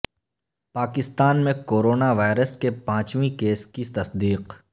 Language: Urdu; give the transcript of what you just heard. پاکستان میں کورونا وائرس کے پانچویں کیس کی تصدیق